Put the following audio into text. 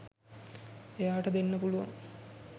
එයාට දෙන්න පුලුවන්